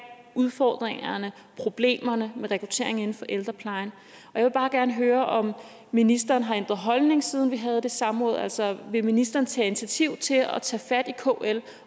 udfordringerne problemerne med rekruttering inden for ældreplejen jeg vil bare gerne høre om ministeren har ændret holdning siden vi havde det samråd altså vil ministeren tage initiativ til at tage fat i kl